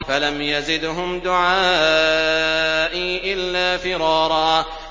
فَلَمْ يَزِدْهُمْ دُعَائِي إِلَّا فِرَارًا